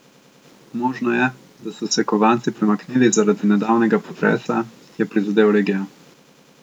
Možno je, da so se kovanci premaknili zaradi nedavnega potresa, ki je prizadel regijo.